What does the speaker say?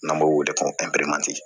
N'an b'o wele ko